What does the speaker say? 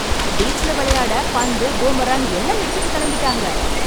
Beach ல விளையாட பந்து, பூமாராங் எல்லாம் எடுத்துட்டு கிளம்பிட்டாங்க.